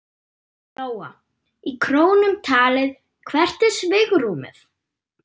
Lóa: Í krónum talið, hvert er svigrúmið?